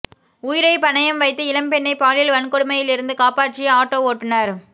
உயிரை பணயம் வைத்து இளம்பெண்ணை பாலியல் வன்கொடுமையிலிருந்து காப்பாற்றிய ஆட்டோ ஓட்டுநர்